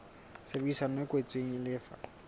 tshebedisano e kwetsweng e lefa